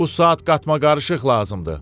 Bu saat qatmaqarışıq lazımdır.